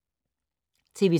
TV 2